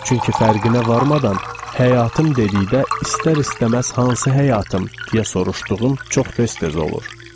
Çünki fərqinə varmadan həyatım dedikdə istər-istəməz hansı həyatım deyə soruşduğum çox tez-tez olur.